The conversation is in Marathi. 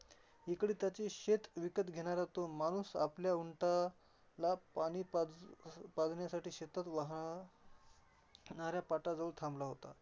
इकडे त्याचे शेत विकत घेणारा तो माणूस आपल्या उंटाला पाणी पाज पाजण्यसाठी शेतात वाहा णाऱ्या पाटाजवळ थांबला होता.